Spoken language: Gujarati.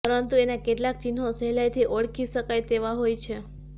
પરંતુ એના કેટલાંક ચિન્હો સહેલાઈથી ઓળખી શકાય તેવા હોય છે